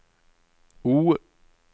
O